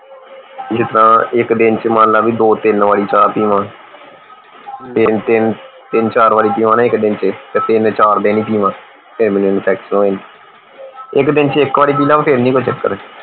ਜਿਸ ਤਰ੍ਹਾਂ ਇਕ ਦਿਨ ਚ ਮੰਨ ਲਾ ਵੀ ਦੋ ਤਿੰਨ ਵਰੀ ਚਾ ਪੀਵਾਂ ਤਿੰਨ ਤਿੰਨ ਤਿੰਨ ਚਾਰ ਵਰੀ ਪੀਵਾਂ ਨਾ ਇਕ ਦਿਨ ਚੇ ਤੇ ਤਿੰਨ ਚਾਰ ਦਿਨ ਪੀਵਾਂ ਫੇਰ ਮੈਨੂੰ infection ਹੋ ਜਾਂਦਾ ਇਕ ਦਿਨ ਚ ਇਕ ਵਰੀ ਪੀ ਲਾ ਫੇਰ ਨਹੀਂ ਕੋਈ ਚੱਕਰ